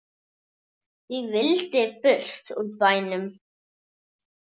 Ég vildi burt úr bænum.